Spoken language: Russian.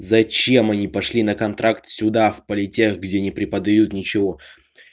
зачем они пошли на контракт сюда в политех где не преподают ничего